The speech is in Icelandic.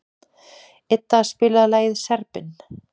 Idda, spilaðu lagið „Serbinn“.